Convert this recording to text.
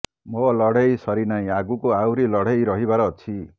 ମୋ ଲଢେଇ ସରିନାହିଁ ଆଗକୁ ଆହୁରି ଲଢେଇ ରହିବାର ଅଛି